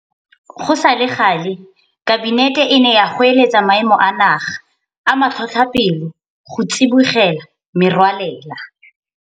Go sa le gale Kabinete e ne ya goeletsa Maemo a Naga a Matlhotlhapelo go tsibogela merwalela.